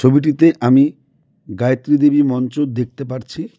ছবিটিতে আমি গায়েত্রী দেবীর মঞ্চ দেখতে পারছি।